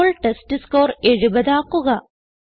ഇപ്പോൾ ടെസ്റ്റ്സ്കോർ 70 ആക്കുക